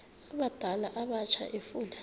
abadala abatsha efuna